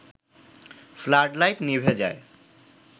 flood light নিভে যায়